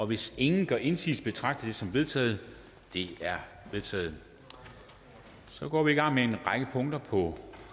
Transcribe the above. hvis ingen gør indsigelse betragter jeg det som vedtaget det er vedtaget så går vi i gang med en række punkter på